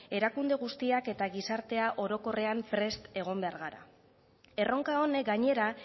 erakunde guztiak eta gizartea orokorrean prest egon behar gara erronka honek gainera